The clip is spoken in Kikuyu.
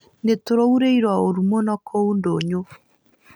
Nĩtũraurĩirũo ũuru mũno kũu ndũnyũ